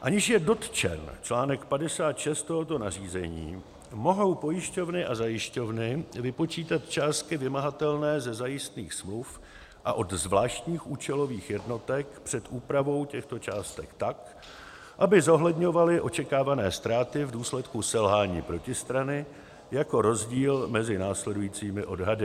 Aniž je dotčen článek 56 tohoto nařízení, mohou pojišťovny a zajišťovny vypočítat částky vymahatelné ze zajistných smluv a od zvláštních účelových jednotek před úpravou těchto částek tak, aby zohledňovaly očekávané ztráty v důsledku selhání protistrany, jako rozdíl mezi následujícími odhady: